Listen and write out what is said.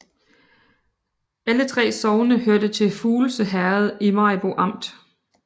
Alle 3 sogne hørte til Fuglse Herred i Maribo Amt